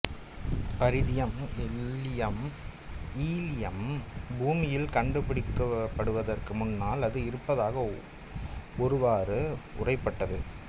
பரிதியம் எல்லியம் ஈலியம் பூமியில் கண்டுபிடிக்கப்படுவதற்கு முன்னால் அது இருப்பதாக ஒருவாறு உணரப்பட்டது